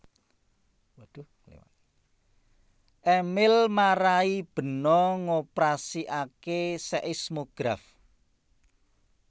Emil marai Beno ngoprasikake seismograf